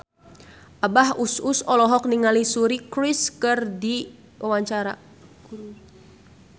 Abah Us Us olohok ningali Suri Cruise keur diwawancara